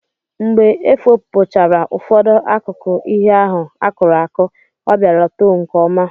Mgbe efopụchara ụfọdụ akụkụ ihe ahụ akụrụ akụ, ọ bịara too nke ọma.